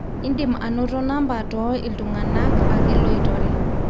indim anoto namba too iltungana ake loitore